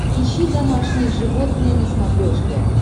ищи домашние животные на смотрешке